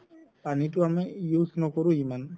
পানিতো আমি use নকৰো ইমান